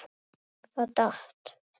Það datt.